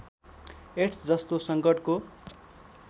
AIDS जस्तो सङ्कटको